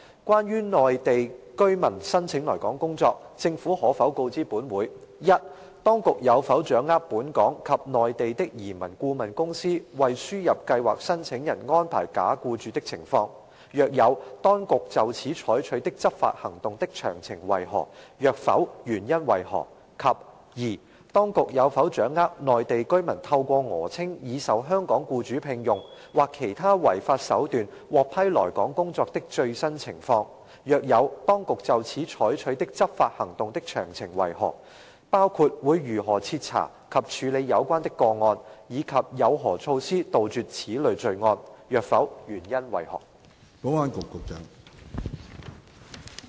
關於內地居民申請來港工作，政府可否告知本會：一當局有否掌握本港及內地的移民顧問公司為輸入計劃申請人安排假僱主的情況；若有，當局就此採取的執法行動的詳情為何；若否，原因為何；及二當局有否掌握內地居民透過訛稱已受香港僱主聘用，或其他違法手段獲批來港工作的最新情況；若有，當局就此採取的執法行動的詳情為何，包括會如何徹查及處理有關的個案，以及有何措施杜絕此類罪案；若否，原因為何？